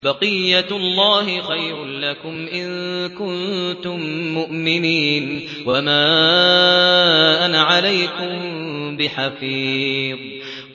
بَقِيَّتُ اللَّهِ خَيْرٌ لَّكُمْ إِن كُنتُم مُّؤْمِنِينَ ۚ وَمَا أَنَا عَلَيْكُم بِحَفِيظٍ